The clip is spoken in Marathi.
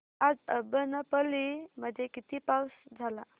आज अब्बनपल्ली मध्ये किती पाऊस झाला